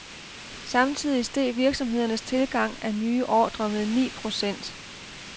Samtidig steg virksomhedernes tilgang af nye ordre med ni procent.